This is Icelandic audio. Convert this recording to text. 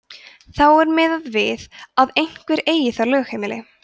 þá er miðað við að einhver eigi þar lögheimili